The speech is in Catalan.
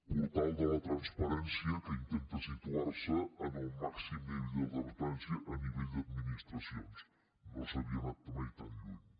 portal de la transparència que intenta situarse en el màxim nivell de transparència a nivell d’administracions no s’havia anat mai tan lluny